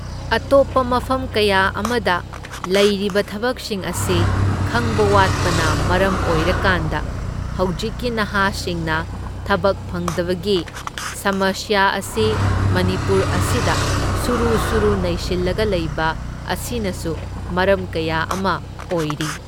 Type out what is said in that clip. ꯑꯇꯣꯞꯄ ꯃꯐꯝ ꯀꯌꯥ ꯑꯃꯗ ꯂꯩꯔꯤꯕ ꯊꯕꯛꯁꯤꯡ ꯑꯁꯤ ꯈꯪꯕ ꯋꯥꯠꯄꯅ ꯃꯔꯝ ꯑꯣꯏꯔꯀꯥꯟꯗ ꯍꯧꯖꯤꯛꯀꯤ ꯅꯍꯥꯁꯤꯡꯅ ꯊꯕꯛ ꯐꯪꯗꯕꯒꯤ ꯁꯃꯁ꯭ꯌꯥ ꯑꯁꯤ ꯃꯅꯤꯄꯨꯔ ꯑꯁꯤꯗ ꯁꯨꯔꯨ ꯁꯨꯔꯨ ꯅꯩꯁꯤꯜꯂꯒ ꯂꯩꯕ ꯑꯁꯤꯅꯁꯨ ꯃꯔꯝ ꯀꯌꯥ ꯑꯃ ꯑꯣꯏꯔꯤ꯫